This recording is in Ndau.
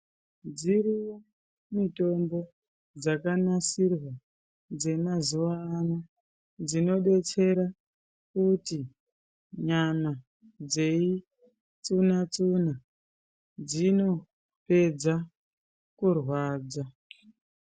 Dziriyo mitombo dzakanasirwa dzemazuwaano, dzinodetsera kuti nyano dzeyitsuna-tsuna, dzinopedza kurwadza.